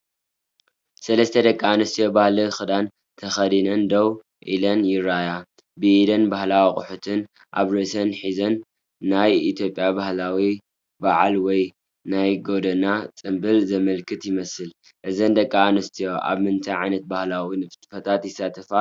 ሰለስተ ደቂ ኣንስትዮ ባህላዊ ክዳን ተኸዲነን ደው ኢለን ይረኣያ። ብኢደንን ባህላዊ ኣቑሑትን ኣብ ርእሰን ሒዘን፣ ናይ ኢትዮጵያ ባህላዊ በዓል ወይ ናይ ጎደና ጽምብል ዘመልክት ይመስል። እዘን ደቂ ኣንስትዮ ኣብ ምንታይ ዓይነት ባህላዊ ንጥፈታት ይሳተፋ ኣለዋ?